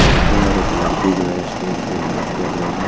लड़का और एक लड़की जो है स्टेज पे डांस कर रही है।